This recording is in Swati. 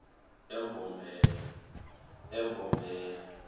embombela